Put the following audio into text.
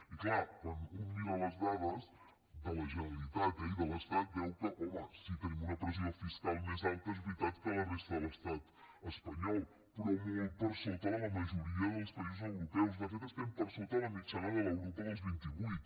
i clar quan un mira les dades de la generalitat eh i de l’estat veu que home sí que tenim una pressió fiscal més alta és veritat que la resta de l’estat espanyol però molt per sota de la majoria dels països europeus de fet estem per sota de la mitjana de l’europa dels vint i vuit